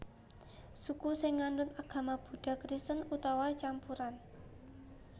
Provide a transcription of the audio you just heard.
Suku sing nganut agama Buddha Kristen utawa campuran